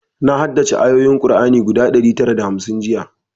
Na haddace ayoyin kur'ani guda ɗari tara da hamsin jiya